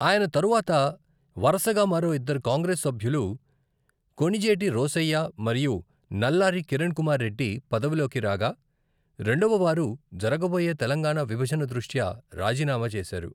ఆయన తరువాత వరుసగా మరో ఇద్దరు కాంగ్రెస్ సభ్యులు కొణిజేటి రోశయ్య మరియు నల్లారి కిరణ్ కుమార్ రెడ్డి పదవిలోకి రాగా, రెండవవారు జరగబోయే తెలంగాణా విభజన దృష్ట్యా రాజీనామా చేశారు.